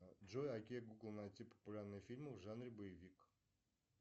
джой окей гугл найти популярные фильмы в жанре боевик